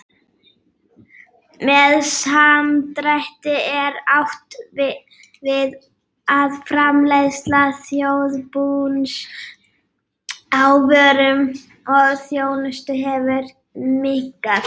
Með samdrætti er átt við að framleiðsla þjóðarbúsins á vörum og þjónustu hefur minnkað.